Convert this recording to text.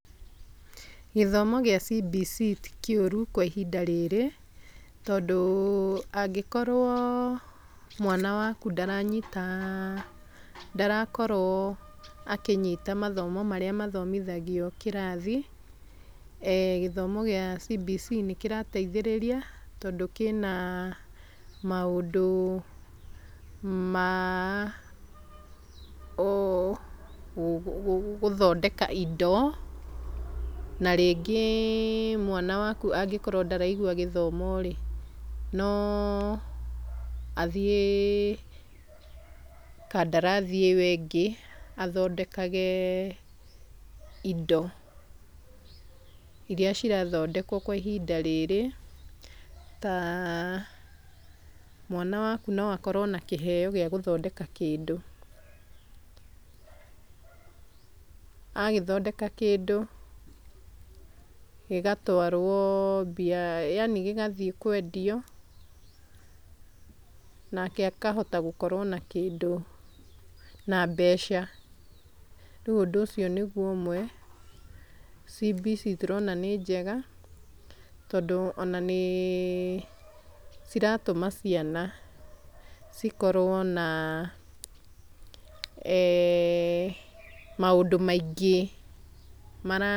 Gĩthomo gĩa CBC ti kĩũru kwa ihinda rĩrĩ tondũ angĩkorwo mwana waku ndaranyita ndarakorwo akĩnyita mathomo marĩa mathomithagia kĩrathi gĩthomo gĩa CBC nĩkĩrateithĩrĩria tondũ kĩna maũndũ ma gũthondeka indo na rĩngĩ mwana waku angĩkorwo ndaraigua gĩthomo rĩ no athiĩ kadarathi ĩyo ĩngĩ athondekage indo iria cirathondekwa kwa ihinda rĩrĩ ta mwana waku nowakorwe na kĩheo wa gũthondeka kĩndú agĩthondeka kĩndũ gĩgatwaro yaani gĩgathi kwendio nake akahota gũkorwo na kĩndũ na mbeca, rĩu ũndũ ũcio nĩu ũmwe CBC turona nĩnjega tondũ ona nĩciratũma ciana cikorwo na maũndũ maingĩ.